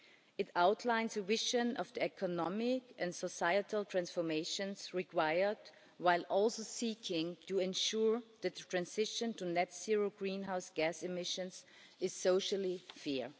It outlines a vision of the economic and societal transformations required, while also seeking to ensure that the transition to net-zero greenhouse gas emissions is socially fair.